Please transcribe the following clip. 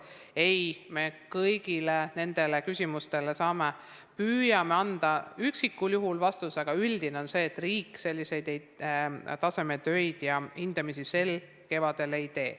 Me püüame kõigile nendele küsimustele igal üksikul juhul vastuse anda, aga üldine põhimõte on, et riik tasemetöid ja muid tähtsaid hindamisi sel kevadel ei tee.